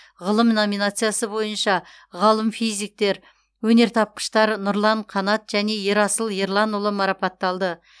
ғылым номинациясы бойынша ғалым физиктер өнертапқыштар нұрлан қанат және ерасыл ерланұлы марапатталды